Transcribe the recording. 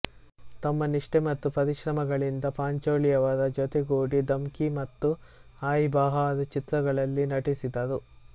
ತಮ್ಮ ನಿಷ್ಠೆ ಮತ್ತು ಪರಿಶ್ರಮಗಳಿಂದ ಪಾಂಚೋಲಿಯವರ ಜೊತೆಗೂಡಿ ಧಮ್ಕಿ ಮತ್ತು ಆಯೀಬಹಾರ್ ಚಿತ್ರಗಳಲ್ಲಿ ನಟಿಸಿದರು